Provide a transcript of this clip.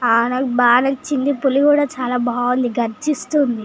హహ్హ నాకు బాగా నచిది పుల్లి ఏఇతి గర్జిస్తునది.